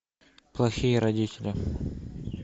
плохие родители